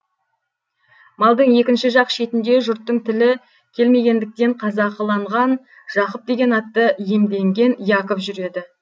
малдың екінші жақ шетінде жұрттың тілі келмегендіктен қазақыланған жақып деген атты иемденген яков жүреді